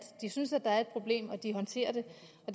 de synes at der er et problem og at de håndterer det